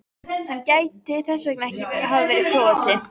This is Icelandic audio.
Hann gæti þess vegna hafa verið Króati.